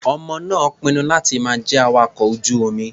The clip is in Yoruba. Ọmọ náà pinnu láti má jẹ́ awakọ̀ ojú-omi.